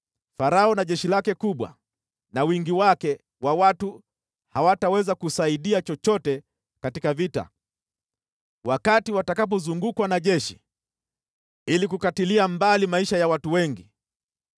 Farao na jeshi lake kubwa, na wingi wake wa watu hawataweza kusaidia chochote katika vita, wakati watakapozungukwa na jeshi ili kukatilia mbali maisha ya watu wengi.